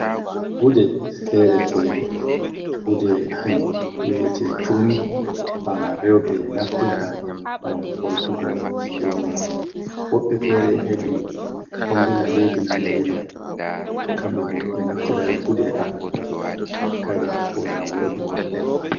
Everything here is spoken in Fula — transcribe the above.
Gude fere-fere. Gude ɗum ɓe vi'ete turmi ha rewɓe naftirta gam holtugo surungal. Woɓɓe fere hedi fombina leddi Najeriya, Kamɓe bo ɓe ɗo naftira e gude haɓe nyotata kare ko da worbe mabɓe on.